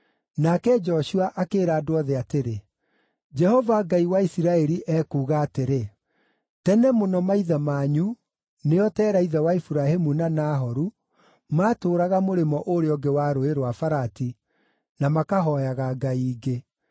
Nake Joshua akĩĩra andũ othe atĩrĩ, “Jehova Ngai wa Isiraeli ekuuga atĩrĩ: ‘Tene mũno maithe manyu, nĩo Tera ithe wa Iburahĩmu na Nahoru, maatũũraga mũrĩmo ũrĩa ũngĩ wa Rũũĩ rwa Farati na makahooyaga ngai ingĩ.